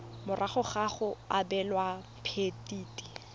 morago ga go abelwa phemiti